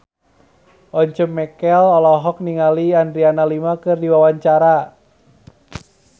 Once Mekel olohok ningali Adriana Lima keur diwawancara